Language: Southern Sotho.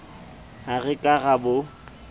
ha re ka ra bo